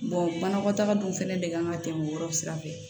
banakɔtaga dun fɛnɛ de kan ka tɛmɛ o yɔrɔ sira fɛ